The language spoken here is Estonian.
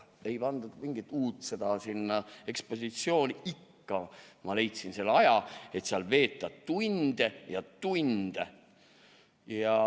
Ei pandud mingit uut ekspositsioon sinna, aga ikka ma leidsin selle aja, et veeta seal tunde ja tunde.